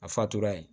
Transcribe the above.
A fa tora yen